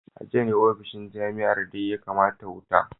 A jiya ne ofishin jami’ar Dean ya kama wuta